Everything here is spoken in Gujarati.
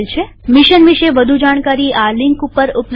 મિશન વિષે વધુ જાણકારી આ લિંક ઉપર ઉપલબ્ધ છે